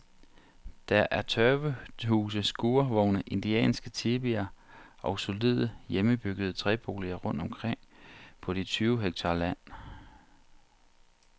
Der er tørvehuse, skurvogne, indianske tipier og solide, hjemmebyggede træboliger rundt omkring på de tyve hektar land.